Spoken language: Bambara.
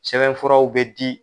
Sɛbɛn furaw bɛ di.